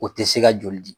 O tɛ se ka joli di